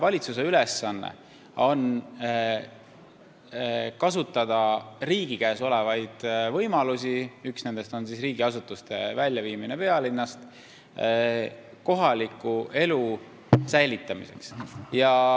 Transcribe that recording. Valitsuse ülesanne on kasutada riigi käes olevaid võimalusi – üks nendest on riigiasutuste väljaviimine pealinnast – kohaliku elu säilitamiseks.